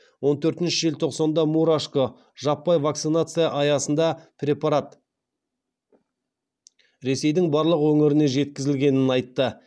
он төртінші желтоқсанда мурашко жаппай вакцинация аясында препарат ресейдің барлық өңіріне жеткізілгенін айтты